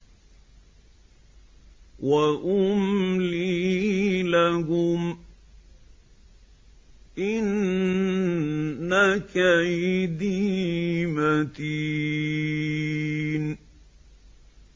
وَأُمْلِي لَهُمْ ۚ إِنَّ كَيْدِي مَتِينٌ